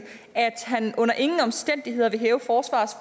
at han under ingen omstændigheder vil